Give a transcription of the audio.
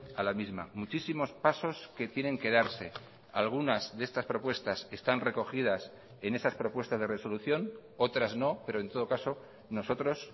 a la misma muchísimos pasos que tienen que darse algunas de estas propuestas están recogidas en esas propuestas de resolución otras no pero en todo caso nosotros